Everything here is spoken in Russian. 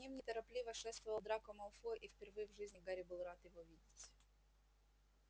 к ним неторопливо шествовал драко малфой и впервые в жизни гарри был рад его видеть